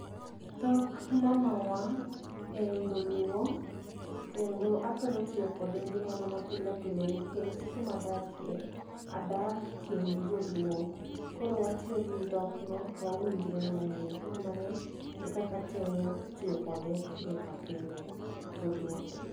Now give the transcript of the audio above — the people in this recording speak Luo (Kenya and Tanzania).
Dhok mamawa en dholuo kendo athoro tiyo kode e ngimana ma pile pile nikech kuma adakie adak kind joluo koro watiyo gi dhok no to wawinjre mang'eny. Koro mano e kaka athoro tiyo kode pile ka pile, dholuo.